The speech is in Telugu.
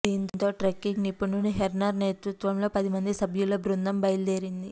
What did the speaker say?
దీంతో ట్రెక్కింగ్ నిపుణుడు హెర్నర్ నేతృత్వంలో పదిమంది సభ్యుల బృదం బయలుదేరింది